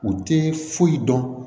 U tɛ foyi dɔn